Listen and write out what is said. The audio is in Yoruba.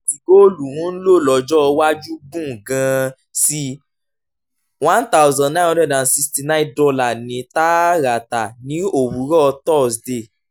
àkókò tí góòlù ń lò lọ́jọ́ iwájú gùn gan-an sí i one thousand nine hundred and sixty nine dollar ní tààràtà ní òwúrọ̀ thursday